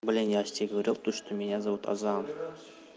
блин я же тебе говорил то что меня зовут азан